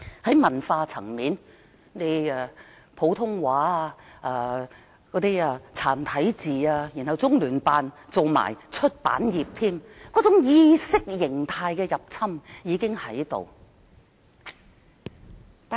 在文化方面，先推廣普通話及"殘體字"，其後中聯辦也沾手出版業，說明意識形態的入侵早已在進行中。